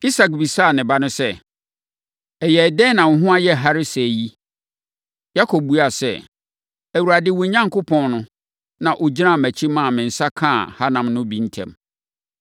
Isak bisaa ne ba no sɛ, “Ɛyɛɛ sɛn na wo ho ayɛ hare sɛɛ yi?” Yakob buaa sɛ, “ Awurade, wo Onyankopɔn no, na ɔgyinaa mʼakyi maa me nsa kaa hanam no bi ntɛm.”